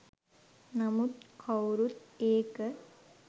නමුත් කවුරුත් ඒක